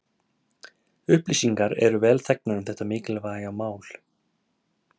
Upplýsingar eru vel þegnar um þetta mikilvæga mál.